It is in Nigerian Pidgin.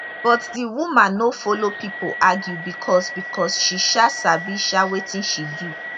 but di woman no follow pipo argue becos becos she um sabi um wetin she do